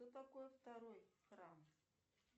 что такое второй храм